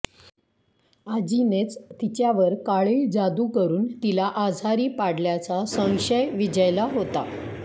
आजीनेच तिच्यावर काळी जादू करून तिला आजारी पाडल्याचा संशय विजयला होता